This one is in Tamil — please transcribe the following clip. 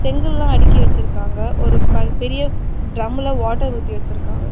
செங்கல்லா அடிக்கி வெச்சிருக்காங்க ஒரு பக் பெரிய ட்ரம்ல வாட்டர் ஊத்தி வெச்சிருக்காங்க.